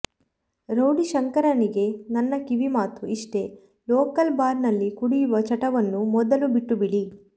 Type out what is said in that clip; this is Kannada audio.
ರೌಡಿ ಶಂಕರನಿಗೆ ನನ್ನ ಕಿವಿಮಾತು ಇಷ್ಟೇ ಲೋಕಲ್ ಬಾರ್ ನಲ್ಲಿ ಕುಡಿಯುವ ಚಟವನ್ನು ಮೊದಲು ಬಿಟ್ಟುಬಿಡಿ